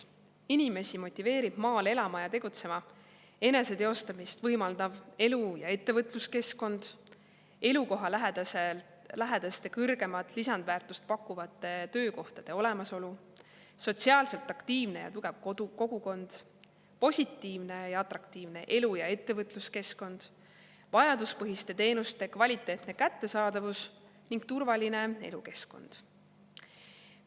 Inimesi motiveerib maal elama ja tegutsema eneseteostamist võimaldav elu‑ ja ettevõtluskeskkond, elukohalähedaste, kõrgemat lisandväärtust pakkuvate töökohtade olemasolu, sotsiaalselt aktiivne ja tugev kogukond, positiivne ja atraktiivne elu‑ ja ettevõtluskeskkond, vajaduspõhiste teenuste kvaliteetne kättesaadavus ning turvaline elukeskkond.